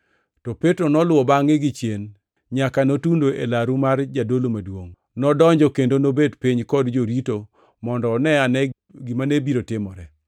To Petro noluwo bangʼe gichien, nyaka notundo e laru mar jadolo maduongʼ. Nodonjo kendo nobet piny kod jorito mondo one ane gima ne biro timore.